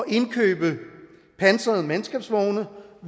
indkøbe pansrede mandskabsvogne